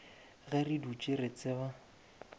ge re dutše re tseba